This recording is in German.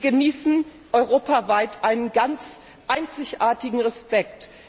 Sie genießen europaweit einen einzigartigen Respekt.